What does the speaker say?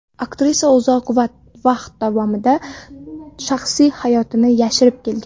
Aktrisa uzoq vaqt davomida shaxsiy hayotini yashirib kelgan.